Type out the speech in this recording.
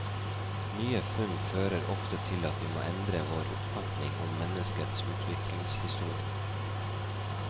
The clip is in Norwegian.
Nye funn fører ofte til at vi må endre vår oppfatning om menneskets utviklingshistorie.